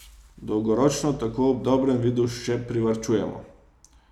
Dolgoročno tako ob dobrem vidu še privarčujemo.